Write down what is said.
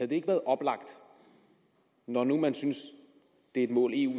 det ikke været oplagt når nu man synes det er et mål eu